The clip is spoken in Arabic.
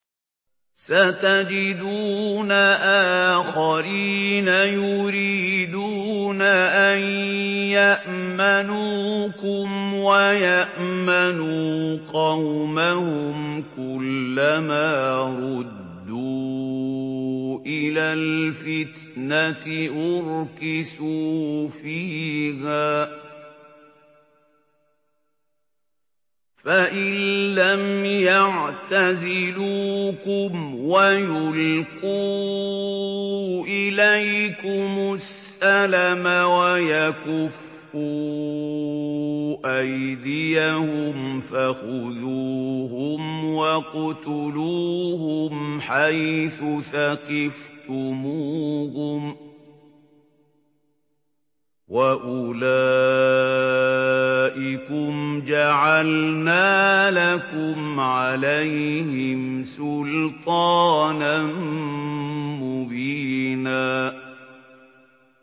سَتَجِدُونَ آخَرِينَ يُرِيدُونَ أَن يَأْمَنُوكُمْ وَيَأْمَنُوا قَوْمَهُمْ كُلَّ مَا رُدُّوا إِلَى الْفِتْنَةِ أُرْكِسُوا فِيهَا ۚ فَإِن لَّمْ يَعْتَزِلُوكُمْ وَيُلْقُوا إِلَيْكُمُ السَّلَمَ وَيَكُفُّوا أَيْدِيَهُمْ فَخُذُوهُمْ وَاقْتُلُوهُمْ حَيْثُ ثَقِفْتُمُوهُمْ ۚ وَأُولَٰئِكُمْ جَعَلْنَا لَكُمْ عَلَيْهِمْ سُلْطَانًا مُّبِينًا